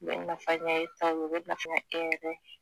Ne bɛ nafaya ɲɛ u bɛ nafa ɲɛ e yɛrɛ ye